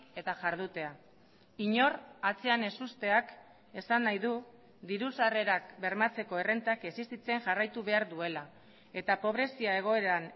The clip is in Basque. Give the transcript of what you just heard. eta jardutea inor atzean ez usteak esan nahi du diru sarrerak bermatzeko errentak existitzen jarraitu behar duela eta pobrezia egoeran